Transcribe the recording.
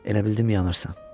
Elə bildim yanırsan.